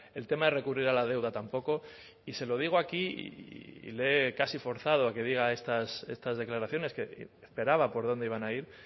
el tema de recurrir a la deuda tampoco y se lo digo aquí casi forzado a que diga estas declaraciones que esperaba por dónde iban a ir